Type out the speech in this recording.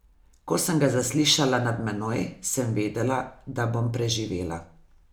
Ko sem ga zaslišala nad menoj, sem vedela, da bom preživela.